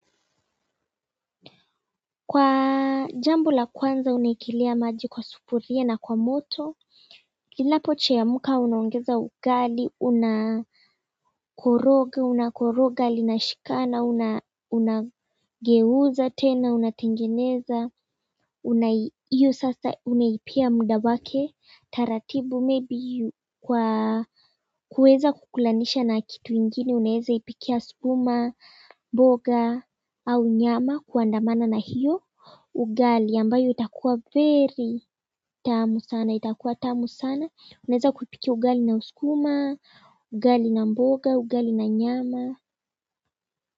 Kwa jambo la kwanza unaekelea maji kwa sufuria na kwa moto inapochemka unaongeza ugali unakoroga unakoroga lina shikana unageuza tena unatengeneza hiyo sasa unaipea muda wake taratibu maybe kwa kuweza kukulanisha na kitu ingine unaweza ipikia skuma mboga au nyama kuandamana na hiyo ugali ambayo itakuwa very tamu sana itakuwa tamu sana unaweza kupika ugali na skuma ugali na mboga, ugali na nyama.